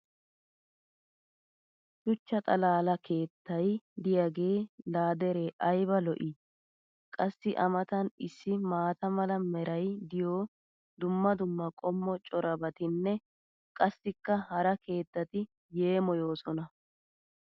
Shuchcha xalaala keettay diyaagee laa deree ayba lo'ii! qassi a matan issi maata mala meray diyo dumma dumma qommo corabatinne qassikka hara keettati yeemmoyoosona!